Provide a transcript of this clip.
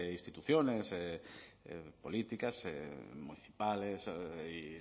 instituciones políticas municipales y